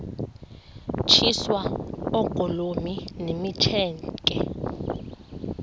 tyiswa oogolomi nemitseke